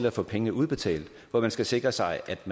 at få pengene udbetalt hvor man skal sikre sig at